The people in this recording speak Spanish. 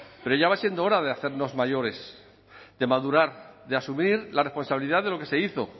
pero ya va siendo hora de hacernos mayores de madurar de asumir la responsabilidad de lo que se hizo